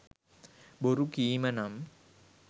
බොරු කීම නම්